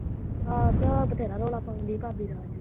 ਆਹੋ ਤੇ ਉਹ ਬਥੇਰਾ ਰੌਲਾ ਪਾਉਂਦੀ ਏ ਭਾਬੀ ਤੇ ਅੱਜ ਵੀ।